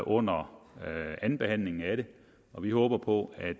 under andenbehandlingen af det og vi håber på at